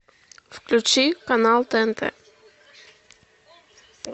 включи канал тнт